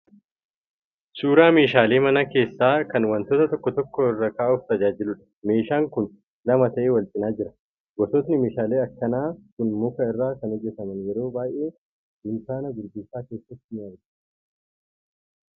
Suuraa meeshaalee mana keessaa kan wantoota tokko tokko irra ka'uuf tajaajiluudha. Meeshaan kun lama ta'ee wal cina jira. Gosootni meeshaalee akkanaa kun muka irraa kan hojjetaman yeroo baay'ee dunkaana gurgurtaa keessatti argamu.